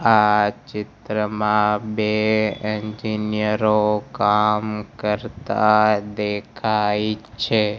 આ ચિત્રમાં બે એન્જીનીયરો કામ કરતા દેખાય છે.